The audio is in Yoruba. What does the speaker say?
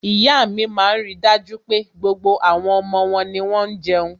iya mi maa n rí dájú pé, gbogbo àwọn omo won ni won jeun